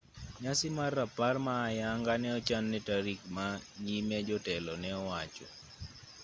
nyasi mar rapar ma ayanga ne ochan ne tarik ma nyime jotelo ne owacho